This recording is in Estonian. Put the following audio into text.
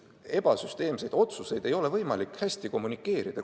Ebasüsteemseid otsuseid ei ole võimalik hästi kommunikeerida.